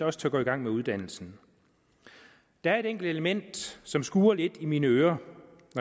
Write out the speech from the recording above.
også tør gå i gang med uddannelsen der er et enkelt element som skurer lidt i mine ører